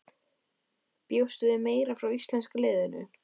Sunna: Já en vitum við eitthvað hvað orsakaði slysið?